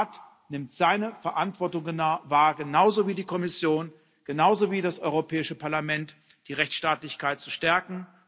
Der Rat nimmt seine Verantwortung wahr genauso wie die Kommission, genauso wie das Europäische Parlament die Rechtsstaatlichkeit zu stärken.